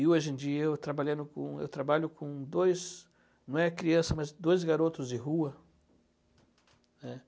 E hoje em dia eu trabalhando com eu trabalho com dois, não é criança, mas dois garotos de rua, né?